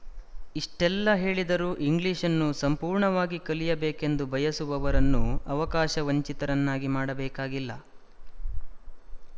ಇಷ್ಟೆಲ್ಲ ಹೇಳಿದರೂ ಇಂಗ್ಲಿಶ್‌ನ್ನು ಸಂಪೂರ್ಣವಾಗಿ ಕಲಿಯಬೇಕೆಂದು ಬಯಸುವವರನ್ನು ಅವಕಾಶವಂಚಿತರನ್ನಾಗಿ ಮಾಡಬೇಕಾಗಿಲ್ಲ